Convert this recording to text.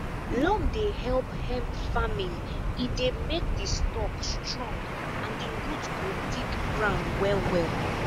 loam dey help hemp farming e dey make the stalk strong and the root go dig ground wellwell